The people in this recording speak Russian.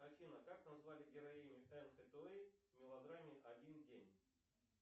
афина как назвали героиню энн хэтэуэй в мелодраме один день